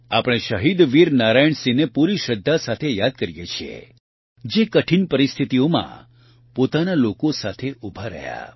આપણે શહીદવીર નારાયણસિંહને પૂરી શ્રદ્ધા સાથે યાદ કરીએ છીએ જે કઠિન પરિસ્થિતિઓમાં પોતાના લોકો સાથે ઉભા રહ્યા